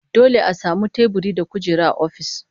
Dole a samu teburi da kujera a ofis